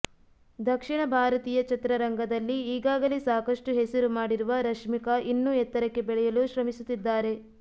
ದಕ್ಷಿಣ ಭಾರತೀಯ ಚಿತ್ರರಂಗದಲ್ಲಿ ಈಗಾಗಲೆ ಸಾಕಷ್ಟು ಹೆಸರು ಮಾಡಿರುವ ರಶ್ಮಿಕಾ ಇನ್ನೂ ಎತ್ತರಕ್ಕೆ ಬೆಳೆಯುಲು ಶ್ರಮಿಸುತ್ತಿದ್ದಾರೆ